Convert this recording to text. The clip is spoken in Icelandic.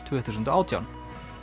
tvö þúsund og átján